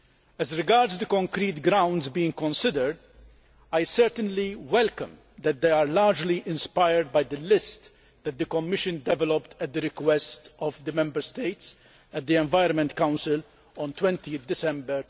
As regards the concrete grounds being considered, I certainly welcome the fact that they are largely inspired by the list that the Commission developed at the request of the Member States at the Environment Council on 20 December